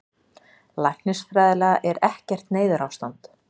Læknisfræðilega er ekkert neyðarástand